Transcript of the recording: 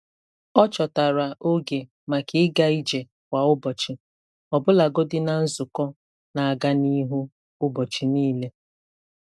Ọ chọtara oge maka ịga ije kwa ụbọchị, ọbụlagodi na nzukọ na-aga n'ihu ụbọchị niile.